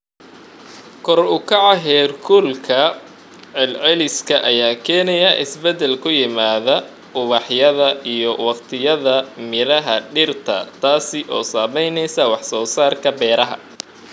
Kor u kaca heerkulka celceliska ayaa keenaya isbeddel ku yimaada ubaxyada iyo waqtiyada miraha dhirta, taas oo saameynaysa wax soo saarka beeraha.